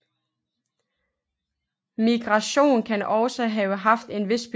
Migration kan også have haft en vis betydning